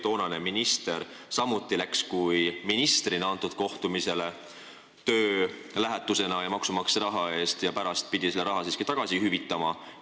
Toonane minister läks samuti sellele kohtumisele ministrina, töölähetuse vormis maksumaksja raha eest ja pidi pärast selle raha siiski hüvitama.